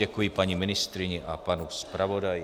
Děkuji paní ministryni a panu zpravodaji.